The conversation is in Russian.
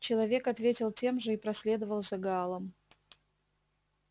человек ответил тем же и проследовал за гаалом